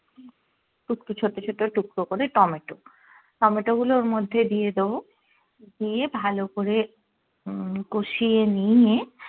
একটু ছোট্ট ছোট্ট টুকরো করে টমেটো টমেটো গুলো ওর মধ্যে দিয়ে দেবো দিয়ে ভালো করে উম কষিয়ে নিয়ে